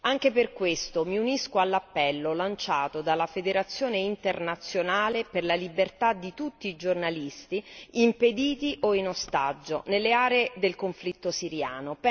anche per questo mi unisco all'appello lanciato dalla Federazione internazionale per la libertà di tutti i giornalisti, impediti o in ostaggio nelle aree del conflitto siriano.